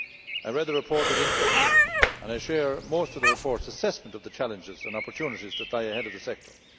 I read the report with interest, and I share most of the report's assessment of the challenges and opportunities that lie ahead of the sector.